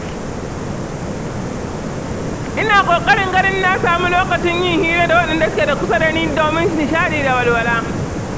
Ina kokarin ganin na samu lokacin yin hira da waɗanda su ke kusa da ni domin nishaɗi da walwala